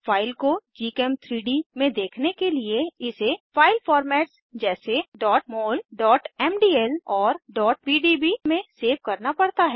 file को gchem3डी में देखने के लिए इसे फाइल फॉर्मेट्स जैसे mol mdl और pdb में सेव करना पड़ता है